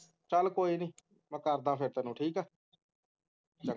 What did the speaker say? ਚਲ ਕੋਈ ਨੀ ਮੈਂ ਕਰਦਾ ਫੇਰ ਤੈਨੂੰ ਠੀਕ ਹੈ ਚੰਗਾ